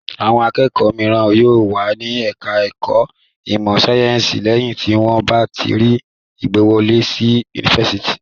Awọn akẹ́kọ̀ọ́ mìíràn yóò wà ní ẹ̀ka-ẹ̀kọ́ ìmọ̀-sáyẹ́ńsì lẹ́yìn tí wọ́n bá rí ìgbàwọlé sí yunifásitì.